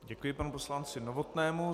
Děkuji panu poslanci Novotnému.